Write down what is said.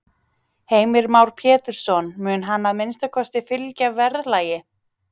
Heimir Már Pétursson: Mun hann að minnsta kosti fylgja verðlagi?